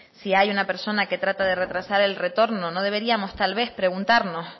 si hay una persona que trata de retrasar el retorno no deberíamos tal vez preguntarnos